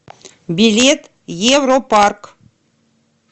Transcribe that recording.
билет европарк